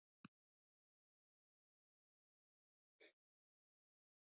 Lillý Valgerður: Hvaða þýðingu hefur Gríman fyrir ykkur?